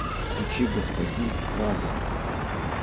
включи господин лазар